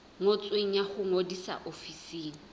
ngotsweng ya ho ngodisa ofising